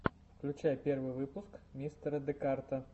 включай первый выпуск мистера декарта